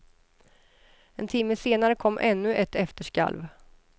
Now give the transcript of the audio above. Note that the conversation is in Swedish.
En timme senare kom ännu ett efterskalv.